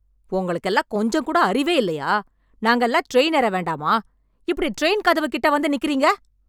உங்களுக்கெல்லாம் கொஞ்சம் கூட அறிவே இல்லையா நாங்க எல்லாம் ட்ரெயின் ஏற வேண்டாமா.. இப்படி ட்ரெயின் கதவு கிட்ட வந்து நிக்கிறீங்க